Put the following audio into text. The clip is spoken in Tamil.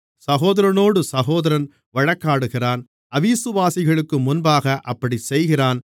சகோதரனோடு சகோதரன் வழக்காடுகிறான் அவிசுவாசிகளுக்கு முன்பாகவும் அப்படிச்செய்கிறான்